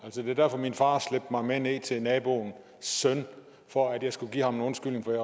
var derfor min far slæbte mig med ned til naboens søn for at jeg skulle give ham en undskyldning for at